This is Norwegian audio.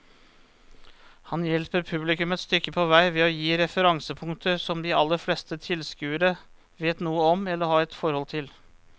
Han hjelper publikum et stykke på vei ved å gi referansepunkter som de aller fleste tilskuere vet noe om eller har et forhold til.